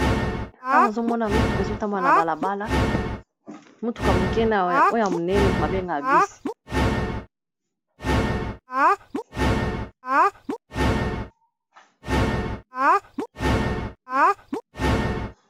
Awa nazomona mituka ezotambola na balabala mutuka moke na oya monene bengaka bus.